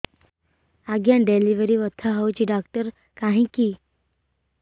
ଆଜ୍ଞା ଡେଲିଭରି ବଥା ହଉଚି ଡାକ୍ତର କାହିଁ କି